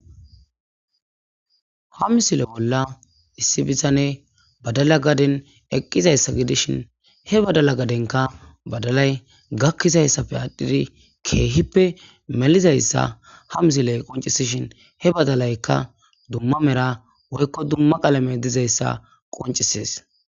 ha misile bolla issi bizane badala gaden eqqizayssa gidishin he badala gadenka badalay gakkizayssafe aadhdhidi keehippe melizayssa ha misiley qoncisishin he badalaykka dumma mera woykko dumma qalame dizayssa qoncisees